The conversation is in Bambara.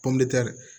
Pɔndi